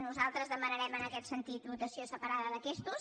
nosaltres demanarem en aquest sentit votació separada d’aquestos